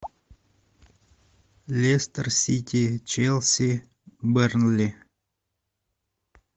лестер сити челси бернли